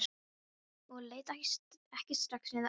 Og leit ekki strax niður aftur.